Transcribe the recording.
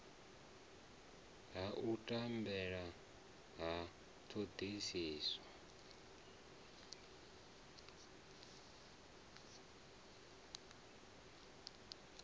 ha u tambela ha thodisiso